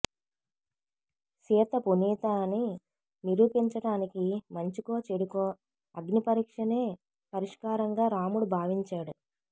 సీత పునీత అని నిరూ పించటానికి మంచికో చెడుకో అగ్నిపరీక్షనే పరిష్కారంగా రాముడు భావించాడు